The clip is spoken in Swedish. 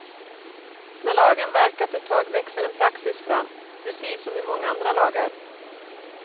När lagen verkat ett tag växer en praxis fram, precis som i många andra lagar.